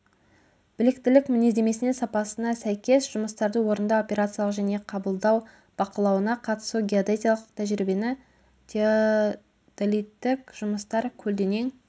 біліктілік мінездемесіне сапасына сәйкес жұмыстарды орындау операциялық және қабылдау бақылауына қатысу геодезиялық тәжірибе теодолиттік жұмыстар көлденең